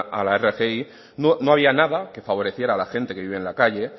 a la rgi no había nada que favoreciera a la gente que vive en la calle